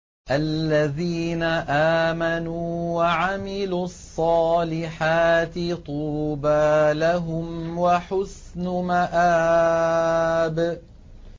الَّذِينَ آمَنُوا وَعَمِلُوا الصَّالِحَاتِ طُوبَىٰ لَهُمْ وَحُسْنُ مَآبٍ